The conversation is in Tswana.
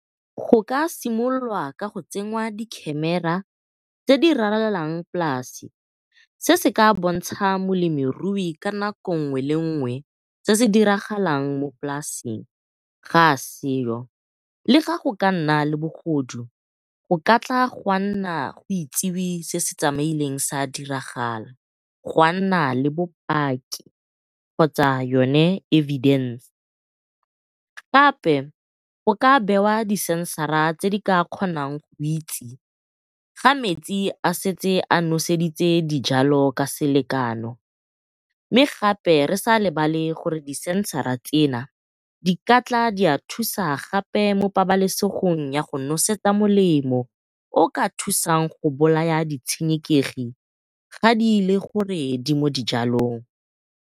Go ka simololwa ka go tsenngwa di camera tse di ralalang polasi se se ka bontsha molemirui ka nako ngwe le nngwe se se diragalang mo polasing ga a seo le ga go ka nna le bogodu o ka tla gwa nna go itsewi se se tsamaileng sa diragala, gwa nna le bopaki kgotsa yone evidence. Gape go ka bewa di sensara tse di ka kgonang go itse fa metsi a setse a noseditse dijalo ka selekano, mme gape re sa lebale gore di sensara tsena di ka tla tsa thusa gape mo pabalesegong ya go nosetsa molemo o o ka thusang go bolaya di tshenekegi ga di le gore di mo dijalong.